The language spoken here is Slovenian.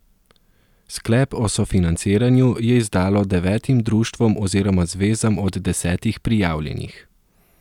Sklep o sofinanciranju je izdalo devetim društvom oziroma zvezam od desetih prijavljenih.